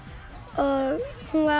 og hún var